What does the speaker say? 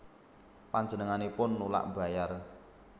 Panjenenganipun nulak mbayar